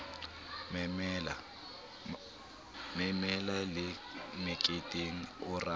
memela le meketeng o ratana